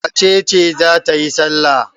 Wace ce za ta yi salla?